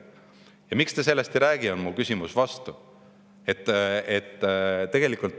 Ma küsin vastu: miks te sellest ei räägi?